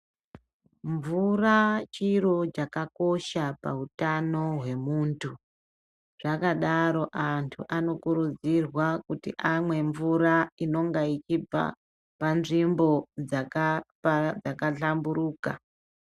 Mvura chiro chakakosha pautanohwemuntu zvakadaro zvakadaro antu anokurudzirwa kuti amwe mvura inenge ichibva panzvimbo dzakapa dzkahlamburuka.